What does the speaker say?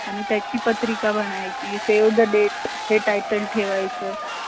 job ला जास्त प्राण दिला पाहिजे, जस की आता online job अन offline job बद्दल आपन बोलू